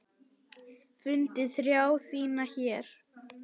Fundið þrá þína hér.